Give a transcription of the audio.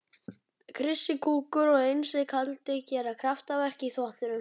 Krissi kúkur og Einsi kaldi gera kraftaverk í þvottinum.